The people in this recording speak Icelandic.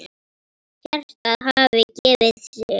Hjartað hafði gefið sig.